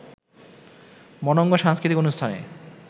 মনোঙ্গ সাংস্কৃতিক অনুষ্ঠানে